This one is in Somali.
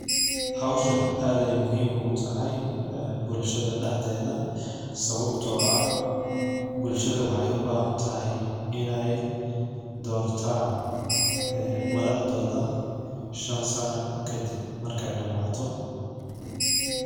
Howshan ad ay muhim ugu tahay bulshada daxdedha, sababto ah bulshada waxay u bahantahay in ay dortan ee madaxdodha shan sana kadib markay damato.